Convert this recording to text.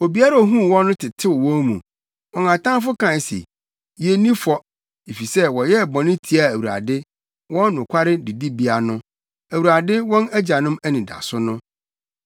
Obiara a ohuu wɔn no tetew wɔn mu: wɔn atamfo kae se, ‘Yenni fɔ, efisɛ wɔyɛɛ bɔne tiaa Awurade, wɔn nokware didibea no, Awurade wɔn agyanom anidaso no.’